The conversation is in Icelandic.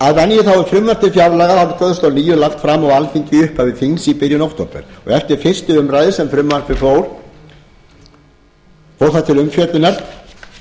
til fjárlaga árið tvö þúsund og níu lagt fram á alþingi í upphafi þings í byrjun október og eftir fyrsta umræða fór það til umfjöllunar